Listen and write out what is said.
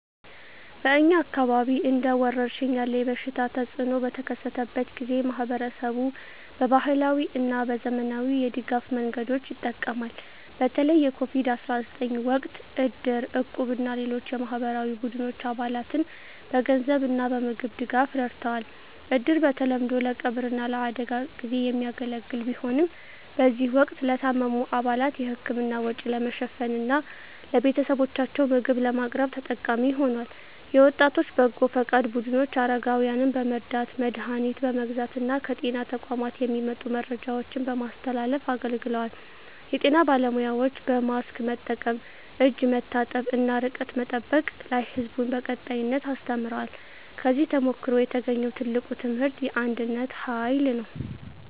በእኛ አካባቢ እንደ ወረርሽኝ ያለ የበሽታ ተፅእኖ በተከሰተበት ጊዜ፣ ማኅበረሰቡ በባህላዊ እና በዘመናዊ የድጋፍ መንገዶች ይጠቀማል። በተለይ የCOVID-19 ወቅት እድር፣ እቁብ እና ሌሎች የማኅበራዊ ቡድኖች አባላትን በገንዘብ እና በምግብ ድጋፍ ረድተዋል። እድር በተለምዶ ለቀብር እና ለአደጋ ጊዜ የሚያገለግል ቢሆንም፣ በዚህ ወቅት ለታመሙ አባላት የሕክምና ወጪ ለመሸፈን እና ለቤተሰቦቻቸው ምግብ ለማቅረብ ተጠቃሚ ሆኗል። የወጣቶች በጎ ፈቃድ ቡድኖች አረጋውያንን በመርዳት፣ መድሀኒት በመግዛት እና ከጤና ተቋማት የሚመጡ መረጃዎችን በማስተላለፍ አገልግለዋል። የጤና ባለሙያዎችም በማስክ መጠቀም፣ እጅ መታጠብ እና ርቀት መጠበቅ ላይ ሕዝቡን በቀጣይነት አስተምረዋል። ከዚህ ተሞክሮ የተገኘው ትልቁ ትምህርት የአንድነት ኃይል ነው።